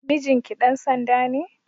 Mijinki ɗan sanda ne?